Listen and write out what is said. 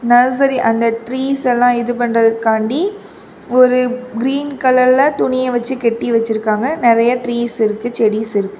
Nursery அந்த trees எல்லாம் இது பண்றது காட்டு ஒரு கிரீன் கலர்ல துணி வச்சு கட்டி வச்சிருக்காங்க நெறைய ட்ரீஸ் இருக்கு செடிஸ் இருக்கு.